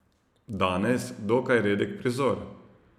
Danes dokaj redek prizor.